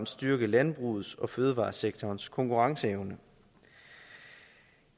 styrke landbrugets og fødevaresektorens konkurrenceevne